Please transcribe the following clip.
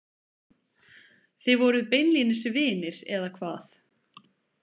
Þið voruð beinlínis vinir, eða hvað?